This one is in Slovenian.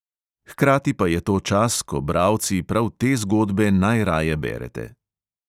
Hkrati pa je to čas, ko bralci prav te zgodbe najraje berete.